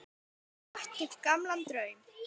Og vakti upp gamlan draum.